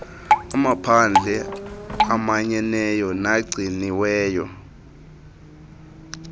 amaphandle amanyeneyo nagciniweyo